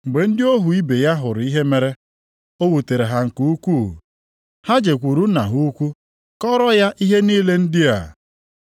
Mgbe ndị ohu ibe ya hụrụ ihe mere, o wutere ha nke ukwuu. Ha jekwuru Nna ha ukwu kọọrọ ya ihe niile ndị a.